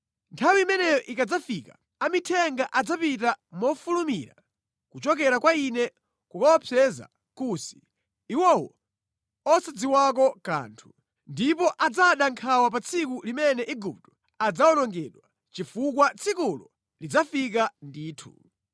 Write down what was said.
“ ‘Nthawi imeneyo ikadzafika, amithenga adzapita mofulumira kuchokera kwa Ine kukaopseza Kusi, iwowo osadziwako kanthu. Ndipo adzada nkhawa pa tsiku limene Igupto adzawonongedwa, chifukwa tsikulo lidzafika ndithu.